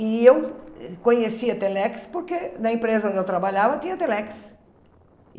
E eu conhecia a Telex porque na empresa onde eu trabalhava tinha Telex.